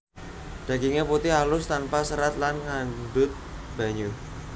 Daginge putih alus tanpa serat lan ngandhut banyu